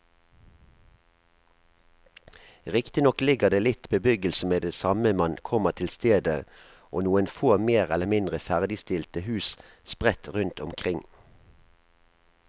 Riktignok ligger det litt bebyggelse med det samme man kommer til stedet og noen få mer eller mindre ferdigstilte hus sprett rundt omkring.